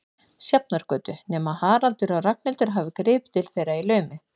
Sjafnargötu, nema Haraldur og Ragnhildur hafi gripið til þeirra í laumi.